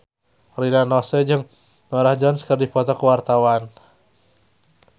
Rina Nose jeung Norah Jones keur dipoto ku wartawan